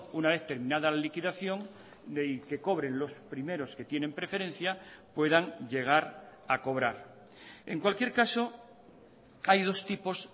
una vez terminada la liquidación de que cobren los primeros que tienen preferencia puedan llegar a cobrar en cualquier caso hay dos tipos